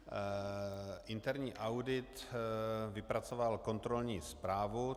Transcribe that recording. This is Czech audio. Interní audit vypracoval kontrolní zprávu.